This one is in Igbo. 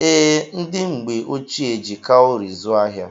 Ee, ndị mgbe ochie jị cawuri zụọ ahịa.